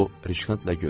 O Risxantla güldü.